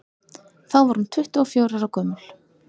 þá var hún tuttugu og fjögurra ára gömul